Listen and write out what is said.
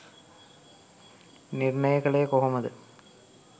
නිර්ණය කළේ කොහොමද?